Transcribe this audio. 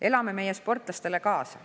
Elame meie sportlastele kaasa.